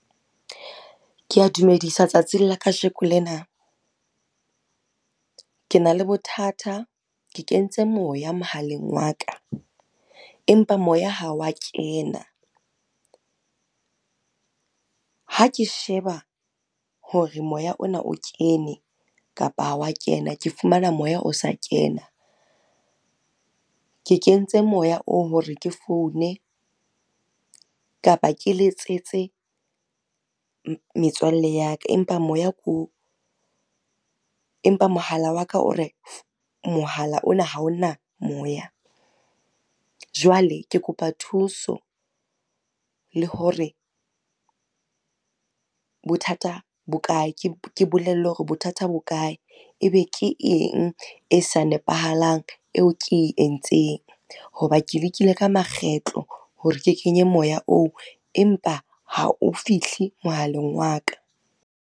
Ke a dumedisa tsatsing la kajeno lena. Ke na le bothata, ke kentse moya mohaleng wa ka empa moya ha wa kena. Ha ke sheba hore moya ona o kene kapa ha wa kena, ke fumana moya o sa kena. Ke kentse moya oo hore ke foune kapa ke letsetse, metswalle ya ka. Empa moya ke oo, empa mohala wa ka o re, mohala ona ha o na moya. Jwale ke kopa thuso le hore, bothata bo kae, ke bolellwe hore bothata bo kae. Ebe ke eng e sa nepahalang eo ke entseng, ho ba ke lekile ka makgetlo hore ke kenye moya oo empa ha o fihle mohaleng wa ka